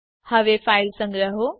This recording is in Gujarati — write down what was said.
હવે ફાઈલ સંગ્રહો